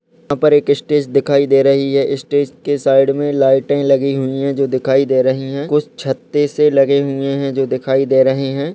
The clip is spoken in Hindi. ऊपर एक स्टेज दिखाई दे रही है स्टेज के साइड मे लाइटें लगी हुई है जो दिखाई दे रही है कुछ छत्ते से लगे हुये है जो दिखाई दे रहे है।